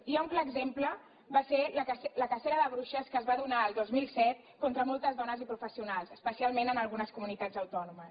i un clar exemple en va ser la cacera de bruixes que es va donar el dos mil set contra moltes dones i professionals especialment en algunes comunitats autònomes